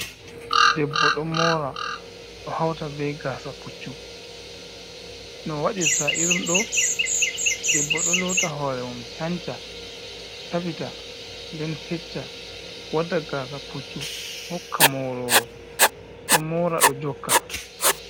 Debbo ɗo mora ɗo hauta be gasa puccu no wadirta irin ɗo, debbo ɗo lowta horemum canca, safita, nden fecca wadda gasa puccu hokka morowo ɗo mora ɗo jokka.